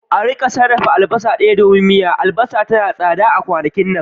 a rika sarrafa albasa daya domin miya, albasa tana da tsada sosai a kwanakin nan